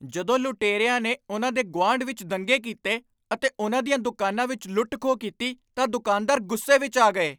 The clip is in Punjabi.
ਜਦੋਂ ਲੁਟੇਰਿਆਂ ਨੇ ਉਨ੍ਹਾਂ ਦੇ ਗੁਆਂਢ ਵਿੱਚ ਦੰਗੇ ਕੀਤੇ ਅਤੇ ਉਨ੍ਹਾਂ ਦੀਆਂ ਦੁਕਾਨਾਂ ਵਿੱਚ ਲੁੱਟ ਖੋਹ ਕੀਤੀ ਤਾਂ ਦੁਕਾਨਦਾਰ ਗੁੱਸੇ ਵਿੱਚ ਆ ਗਏ